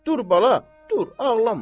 Dur bala, dur, ağlama.